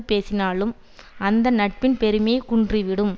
பேசினாலும் அந்த நட்பின் பெருமை குன்றிவிடும்